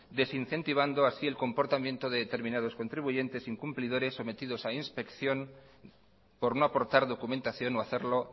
desincentivando así el comportamiento de determinados contribuyentes incumplidores sometidos a inspección por no aportar documentación o hacerlo